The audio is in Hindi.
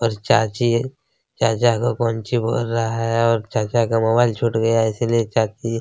और चाची-चाचा को कोंची बोल रहा है और चाचा का मोबाइल छूट गया है इस लिए चाची--